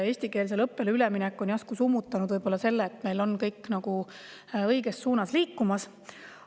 Eestikeelsele õppele üleminek on võib-olla järsku summutanud selle, et meil on kõik õiges suunas liikumas.